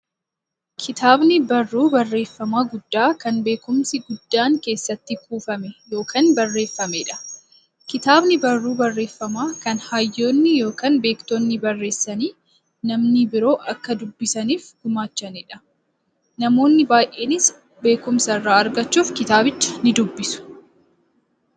Kitaabni barruu barreeffamaa guddaa, kan beekumsi guddaan keessatti kuufame yookiin barreefameedha. Kitaabni barruu barreeffamaa, kan hayyoonni yookiin beektonni barreessanii, namni biroo akka dubbisaniif gumaachaniidha. Namoonni baay'eenis beekumsa irraa argachuuf kitaabicha nidubbisu.